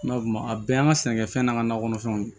N'a fɔ a bɛɛ y'an ka sɛnɛkɛfɛn n'an ka nakɔ kɔnɔfɛnw